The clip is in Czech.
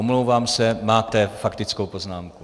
Omlouvám se, máte faktickou poznámku.